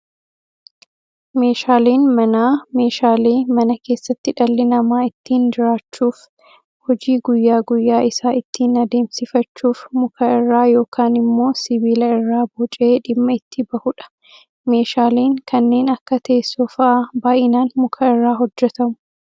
Meeshaaleen manaa, meeshaalee mana keessatti dhalli namaa ittiin jiraachuuf, hojii guyyaa guyyaa isaa ittiin adeemsifachuuf muka irraa yookaan immoo sibiila irraa bocee dhimma itti bahudha. Meeshaaleen kanneen akka teessoo fa'aa baayyinaan muka irraa hojjetamu.